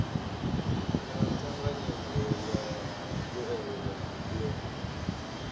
na thanganyelo ya mbuelo yo